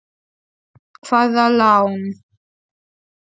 Hvaða lán?